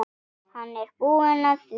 Hann er búinn að því.